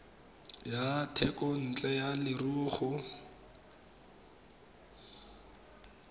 ya thekontle ya leruo go